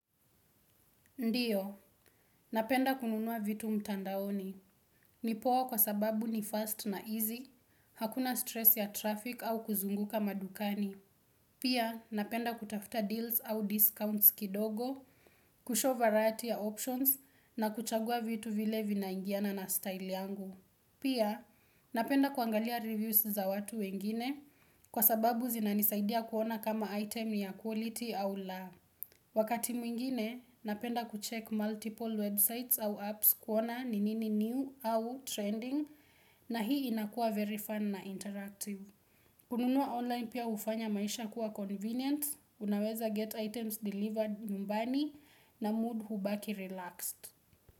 Ndiyo, napenda kununua vitu mtandaoni. Nipoa kwa sababu ni fast na easy, hakuna stress ya traffic au kuzunguka madukani. Pia, napenda kutafta deals au discounts kidogo, kushow variety ya options na kuchagua vitu vile vinaingiana na style yangu. Pia, napenda kuangalia reviews za watu wengine kwa sababu zinanisaidia kuona kama item ya quality au la. Wakati mwingine, napenda kuchek multiple websites au apps kuona ni nini new au trending na hii inakua very fun na interactive. Kununua online pia hufanya maisha kuwa convenient, unaweza get items delivered nyumbani na mood hubaki relaxed.